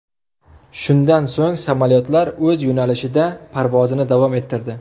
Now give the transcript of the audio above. Shundan so‘ng samolyotlar o‘z yo‘nalishida parvozini davom ettirdi.